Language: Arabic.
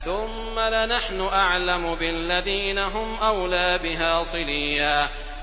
ثُمَّ لَنَحْنُ أَعْلَمُ بِالَّذِينَ هُمْ أَوْلَىٰ بِهَا صِلِيًّا